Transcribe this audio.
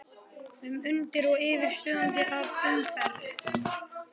um, undir og yfir, suðandi af umferð.